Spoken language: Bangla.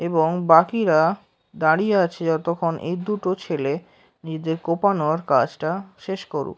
এবং বাকিরা দাঁড়িয়ে আছে যতক্ষণ এই দুটো ছেলে নিজেদের কোপানোর কাজটা শেষ করুক।